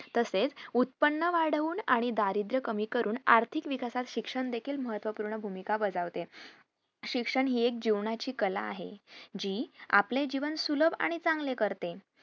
तसेच उत्पन्न वाढवून आणि दारिद्र्य कमी करून आर्थिक विकासास शिक्षण देखील महत्वपूर्ण भूमिका बजावते शिक्षण हि एक जीवनाची कला आहे जी आपले जीवन सुलभ आणि चांगले करते